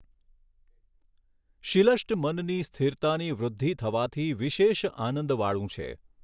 શિલષ્ટ મનની સ્થિરતાની વૃદ્ધિ થવાથી વિશેષ આનંદવાળું છે.